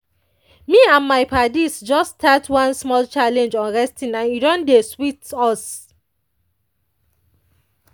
me and my paddies just start one small challenge on resting and e don dey sweet us.